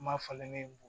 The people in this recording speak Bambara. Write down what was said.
Ma falen ne b